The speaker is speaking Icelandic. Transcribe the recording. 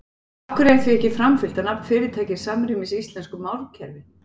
Af hverju er því ekki framfylgt að nafn fyrirtækis samrýmist íslensku málkerfi?